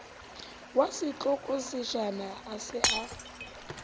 wa setlokotsejana a se a